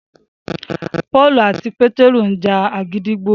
Pọ́ọ̀lù àti Pétérù ńja gídígbò